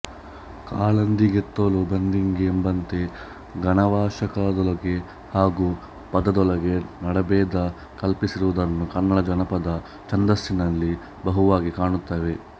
ಕಾಲಂದೀ ಗೆತೋಳು ಬಂದೀ ಗೆ ಎಂಬಂತೆ ಗಣಾವಕಾಶದೊಳಗೆ ಹಾಗೂ ಪಾದದೊಳಗೆ ನಡೆಭೇದ ಕಲ್ಪಿಸಿರುವುದನ್ನು ಕನ್ನಡ ಜನಪದ ಛಂದಸ್ಸಿನಲ್ಲಿ ಬಹುವಾಗಿ ಕಾಣುತ್ತೇವೆ